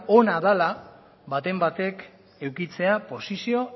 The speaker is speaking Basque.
ona dela baten batek edukitzea posizio